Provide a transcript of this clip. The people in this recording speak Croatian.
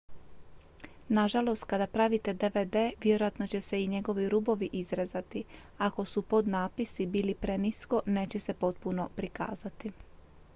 nažalost kada pravite dvd vjerojatno će se i njegovi rubovi izrezati a ako su podnapisi bili prenisko neće se potpuno prikazati